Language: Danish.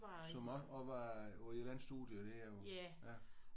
Som også også var på et eller andet studie der?